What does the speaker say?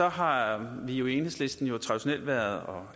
og har vi jo i enhedslisten traditionelt været